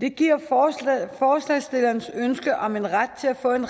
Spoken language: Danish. det giver forslagsstillerens ønske om en ret til at få en